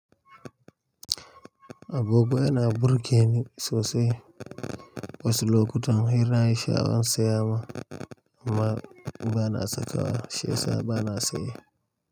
Agogoana burge ni sosai, wasu lokutan hira zance zan siya ma, amma ba'na saka wa shiyasa bana saye.